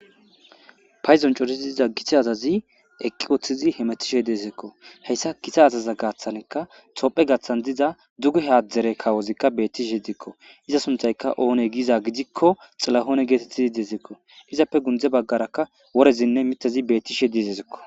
Payzon cotisi diza githe azazi eqqi woththizi hemetishe deezeekko heyssa githa azaza gaaththankka topphe gaaththan diza duge haadzdzere kawozikka bettishe edikko iza sunthayka oone giiza gidikko xilahoone geetettizi deezekko izappe gunde baggaraka worezinne mitazi bettishe dizezikko.